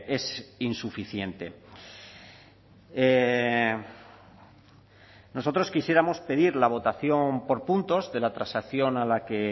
es insuficiente nosotros quisiéramos pedir la votación por puntos de la transacción a la que